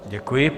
Děkuji.